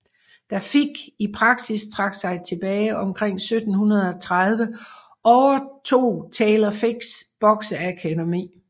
Da Figg i praksis trak sig tilbage omkring 1730 overtog Taylor Figgs bokseakademi